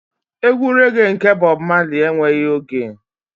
Egwu rẹ́ge nke Bob Marley enweghị oge.